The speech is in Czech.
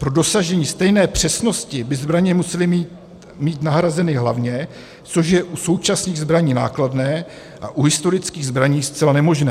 Pro dosažení stejné přesnosti by zbraně musely mít nahrazeny hlavně, což je u současných zbraní nákladné a u historických zbraní zcela nemožné.